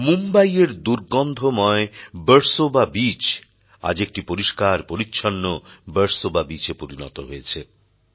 মুম্বই এর দুর্গন্ধময় বার্সোবা বিচ আজ একটি পরিষ্কার পরিচ্ছন্ন বার্সোবা বিচ এ পরিণত হয়েছে